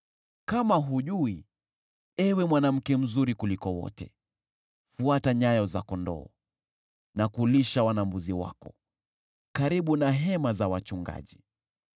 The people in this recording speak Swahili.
Kama hujui, ewe mwanamke mzuri kuliko wote, fuata nyayo za kondoo, na kulisha wana-mbuzi wako karibu na hema za wachungaji.